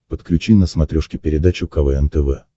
подключи на смотрешке передачу квн тв